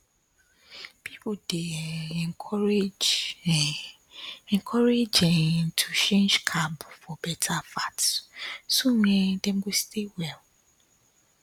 people dey um encouraged um encouraged um to change carb for better fat so um dem go stay well